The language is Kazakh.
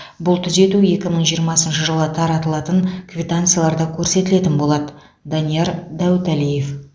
бұл түзету екі мың жиырмасыншы жылы таратылатын квитанцияларда көрсетілетін болады данияр дәуіталиев